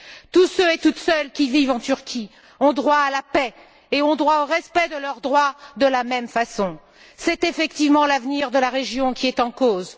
Tous ceux et toutes celles qui vivent en Turquie ont droit à la paix et ont droit au respect de leurs droits de la même façon. C'est effectivement l'avenir de la région qui est en cause.